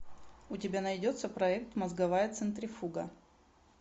у тебя найдется проект мозговая центрифуга